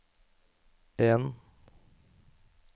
en